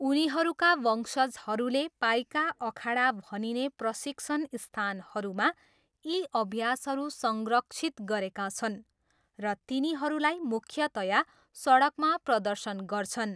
उनीहरूका वंशजहरूले पाइका अखाडा भनिने प्रशिक्षण स्थानहरूमा यी अभ्यासहरू संरक्षित गरेका छन्, र तिनीहरूलाई मुख्यतया सडकमा प्रदर्शन गर्छन्।